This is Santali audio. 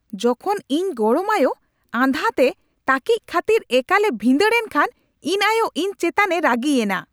ᱡᱚᱠᱷᱚᱱ ᱤᱧ ᱜᱚᱲᱚᱢ ᱟᱭᱳ ᱟᱸᱫᱷᱟ ᱛᱮ ᱛᱟᱹᱠᱤᱡ ᱠᱷᱟᱹᱛᱤᱨ ᱮᱠᱟᱞᱼᱮ ᱵᱷᱤᱸᱫᱟᱹᱲ ᱮᱱ ᱠᱷᱟᱱ ᱤᱧ ᱟᱭᱳ ᱤᱧ ᱮᱪᱛᱟᱱᱮ ᱨᱟᱹᱜᱤᱭᱮᱱᱟ ᱾